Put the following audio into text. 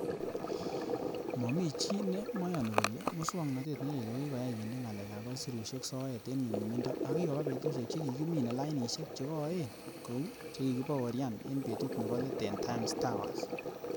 Momi chi nemoyoni kole muswognotet ne leel ko koyai kinde ngalekab aisurusiek soet en nyumnyumindo ak kikoba betusiek che kikimine lainisiek cho koen kou che kikibaorian en betut nebo let en Times Towers.